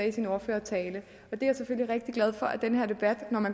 i sin ordførertale jeg er selvfølgelig rigtig glad for at den her debat